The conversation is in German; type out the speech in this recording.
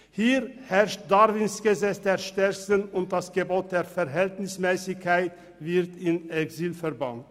Hier herrscht Darwins Gesetz der Stärksten, und das Gebot der Verhältnismässigkeit wird ins Exil verbannt.